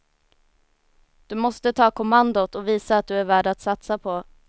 Du måste ta kommandot och visa att du är värd att satsa på.